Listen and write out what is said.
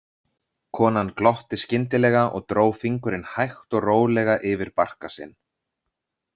Konan glotti skyndilega og dró fingurinn hægt og rólega yfir barka sinn.